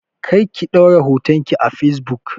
Kar ki ɗaura hoton ki a facebook!